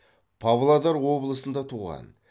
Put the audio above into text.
павлодар облысында туған